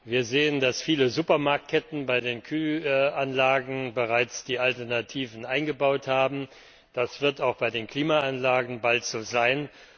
Wir sehen, dass viele Supermarktketten bei den Kühlanlagen bereits die Alternativen eingebaut haben. Das wird auch bei den Klimaanlagen bald so sein.